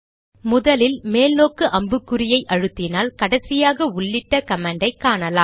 முதலில் மேல் நோக்கு அம்பு குறைஅழுத்தினால் கடைசியாக உள்ளிட்ட கமாண்டை காணலாம்